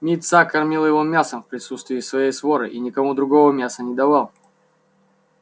мит са кормил его мясом в присутствии своей своры и никому другому мяса не давал